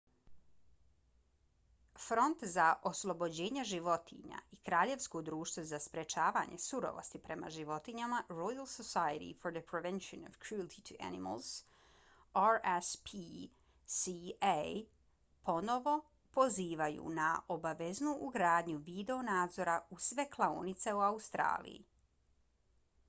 front za oslobođenja životinja i kraljevsko društvo za sprečavanje surovosti prema životinjama royal society for the prevention of cruelty to animals rspca ponovo pozivaju na obaveznu ugradnju video nadzora u sve klaonice u australiji